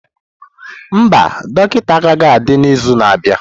Mba, dọkịta agaghị adị n'izu na-abịa.